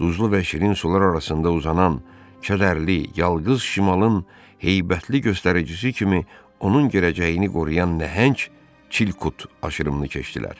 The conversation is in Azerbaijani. Duzlu və şirin sular arasında uzanan kədərli yalğız şimalın heybətli göstəricisi kimi onun gələcəyini qoruyan nəhəng Çilkut aşırımını keçdilər.